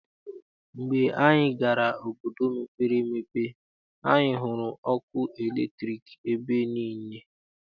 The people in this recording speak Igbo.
Mgbe anyị gara n'obodo mepere emepe, anyị hụrụ ọkụ latriki ebe niile.